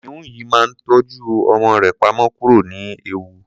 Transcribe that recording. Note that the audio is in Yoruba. kìnìún yìí máa ń tọ́jú ọmọ rẹ pamọ́ kúrò ní ewu